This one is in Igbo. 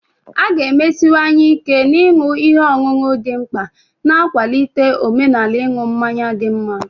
A ga-emesiwanye ike na ịṅụ ihe ọṅụṅụ dị mkpa, na-akwalite omenala ịṅụ mmanya dị mma.